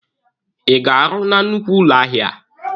Ị ga-arụ na nnukwu ụlọ ahịa a?